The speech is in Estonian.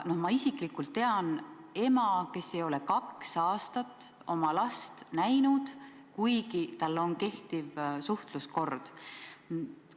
Ma isiklikult tean ema, kes ei ole kaks aastat oma last näinud, kuigi vanematele on määratud kindel suhtluskord.